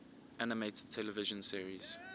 animated television series